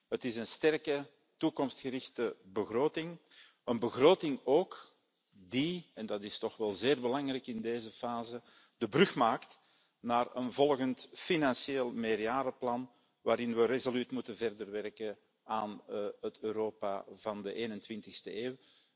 Het is een sterke, toekomstgerichte begroting, een begroting ook die en dat is toch wel zeer belangrijk in deze fase de brug slaat naar een volgend financieel meerjarenplan waarin we resoluut verder moeten werken aan het Europa van de 21e eeuw.